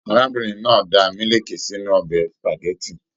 Arábìnrin náà dà miliki sínú ọbẹ supágẹ̀tì.